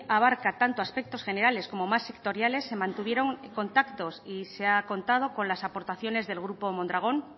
abarca tanto aspectos generales como más sectoriales se mantuvieron contactos y se ha contado con las aportaciones del grupo mondragón